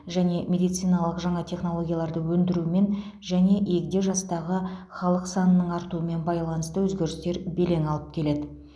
жаңа медициналық жаңа технологияларды ендірумен және егде жастағы халық санының артуымен байланысты өзгерістер белең алып келеді